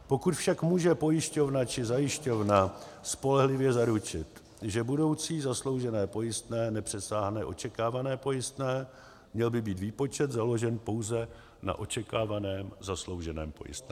Pokud však může pojišťovna či zajišťovna spolehlivě zaručit, že budoucí zasloužené pojistné nepřesáhne očekávané pojistné, měl by být výpočet založen pouze na očekávaném zaslouženém pojistném.